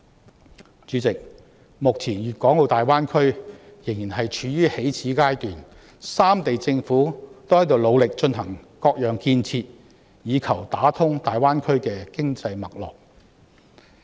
代理主席，目前粵港澳大灣區仍然處於起始階段，三地政府均努力進行各種建設以求打通大灣區的經濟脈絡。